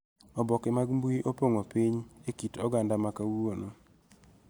Oboke mag mbui opong'o piny e kit oganda ma kawuono